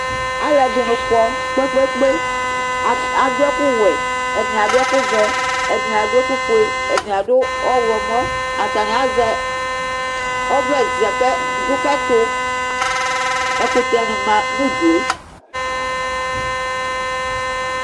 Alʋɛdini kɔ kpe lpe kpe, adʋ ɛkʋwɛ, ɛdini adʋ ɛkʋvɛ, edini adʋ ɛkʋfue, ɛdini adʋ ɔwlɔmɔ, atani azɛ ɔvlɛ dʋkʋ ɛtʋ Ɛkʋtɛ manʋ ʋdʋe